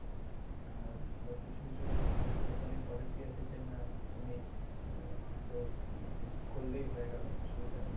আর আবার কিছু কিছু company এর policy আছে যেমন তুমি আ~ হয়তো use করলেই হয়ে গেলো অসুবিধা নাই